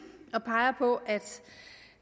og peger på at